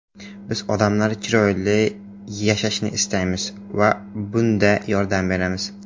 Biz odamlar chiroyli yashashini istaymiz va bunda yordam beramiz.